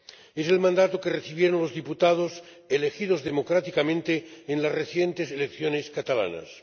Es el mandato que recibieron los diputados elegidos democráticamente en las recientes elecciones catalanas.